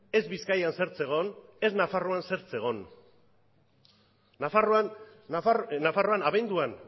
ez bizkaian zer zegoen ez nafarroan zer zegoen nafarroan abenduan